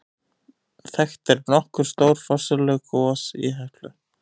Þekkt eru nokkur stór forsöguleg gos í Heklu.